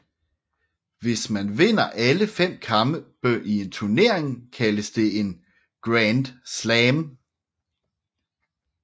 Hvis man vinder alle fem kampe i en turnering kaldes det grand slam